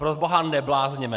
Proboha, neblázněme.